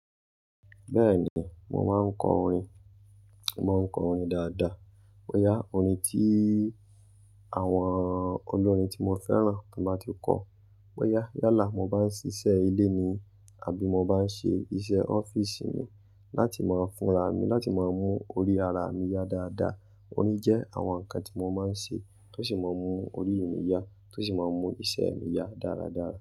Bẹ́ẹ̀ ni, mo máa ń kọ orin, mo máa ń kọ orin dáadáa. Boyà orin tí àwọn olórin tí mo fẹ́ràn tó bá ti kọ. Boyà, yálà mo bá ń ṣíṣe ilé ni àbí mo bá ń ṣe iṣẹ́ ọ́fíìsì ni láti máa funra mi, láti máa mú orí ara mi yá dáadáa. Orin jẹ́ àwọn nǹkan tí mo máa ń ṣe tó sì máa ń mú orí mi yá tó sì máa ń mú iṣẹ́ mi yá dáradára.